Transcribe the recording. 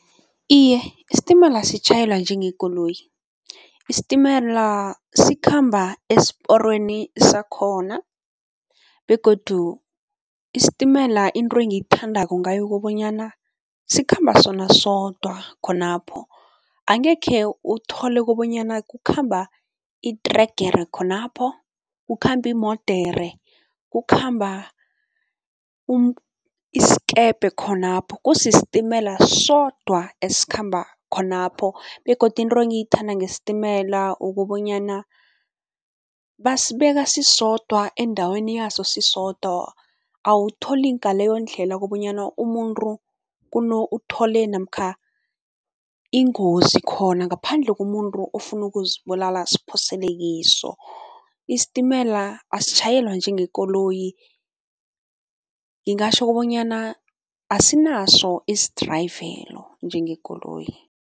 Iye, isitimela sitjhayelwa njengekoloyi. Isitimela sikhamba esiporweni sakhona begodu isitimela into engiyithandako ngayo ukobanyana sikhamba sona sodwa khonapho, angekhe uthole kobonyana kukhamba itregere khonapho, kukhamba iimodere, kukhamba isikebhe khonapho, kusisitimela sodwa esikhamba khonapho begodu into engiyithanda ngesitimela ukobonyana basibeka sisodwa endaweni yaso sisodwa, awutholi ngaleyondlela kobanyana umuntu uthole namkha ingozi khona ngaphandle komuntu ofuna ukuzibulala, aziphosele kiso. Isitimela asitjhayelwa njengekoloyi, ngingatjho kobanyana asinaso isidrayivelo njengekoloyi.